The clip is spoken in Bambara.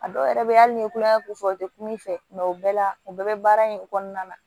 A dɔw yɛrɛ bɛ ye hali ni ye kulonkɛ ko fɔ u tɛ kuma i fɛ o bɛɛ la u bɛɛ bɛ baara in kɔnɔna na